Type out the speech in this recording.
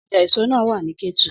Ọjà èso náà wà ní Kétu.